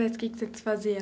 Mas o que que você fazia?